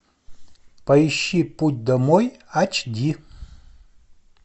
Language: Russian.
поищи путь домой айч ди